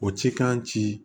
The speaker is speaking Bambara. O ci k'an ci